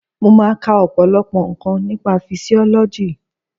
Mo máa ka ọ̀pọ̀lọpọ̀ nǹkan nípa fisiọ́lọ́jì